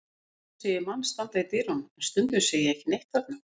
Stundum sé ég mann standa í dyrunum en stundum sé ég ekki neitt þarna.